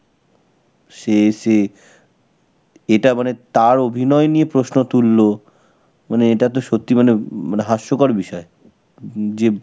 সে এসে এটা মানে তার অভিনয় নিয়ে প্রশ্ন তুলল. মানে এটা তো সত্যি মানে মানে হাস্যকর বিষয়. যে